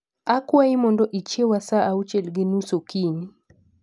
Akwayi mondo ichieya saa achiel gi nus okinyi